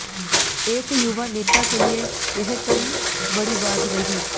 एक युवा नेता के लिए यह कम बड़ी बात नहीं